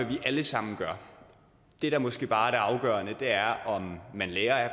vi alle sammen gør det der måske bare er det afgørende er om man lærer af